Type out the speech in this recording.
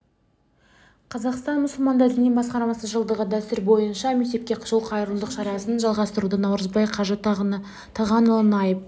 қазақстан мұсылмандар діни басқармасы жылдағы дәстүр бойынша мектепке жол қайырымдылық шарасын жалғастыруда наурызбай қажы тағанұлы наиб